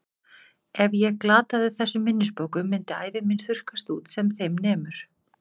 Ef ég glataði þessum minnisbókum myndi ævi mín þurrkast út sem þeim nemur.